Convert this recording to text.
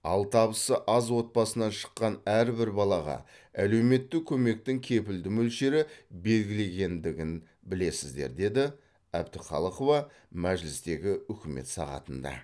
ал табысы аз отбасынан шыққан әрбір балаға әлеуметтік көмектің кепілді мөлшері белгіленгендігін білесіздер деді әбдіқалықова мәжілістегі үкімет сағатында